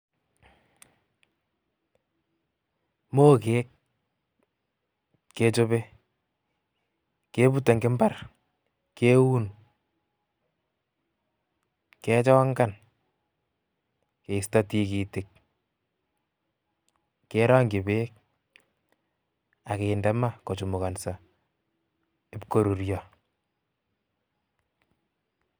Moget kechope, kebute eng mbar, keun, kechongan keisto tikitik, kerong'chi beek akende ma kochemukanso, ib korurio